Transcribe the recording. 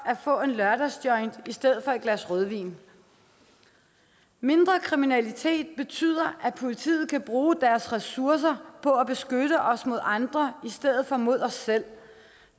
at få en lørdagsjoint i stedet for et glas rødvin mindre kriminalitet betyder at politiet kan bruge deres ressourcer på at beskytte os mod andre i stedet for mod os selv